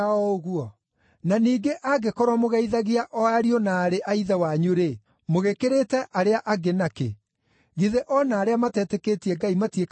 Na ningĩ angĩkorwo mũgeithagia o ariũ na aarĩ a ithe wanyu-rĩ, mũgĩkĩrĩte arĩa angĩ na kĩ? Githĩ o na arĩa matetĩkĩtie Ngai matiĩkaga o ũguo?